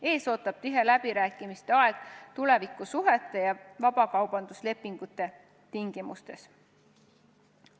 Ees ootab tihe läbirääkimiste aeg tulevikusuhete ja vabakaubanduslepingute tingimuste üle.